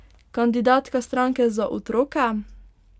Kandidatka stranke Za otroke!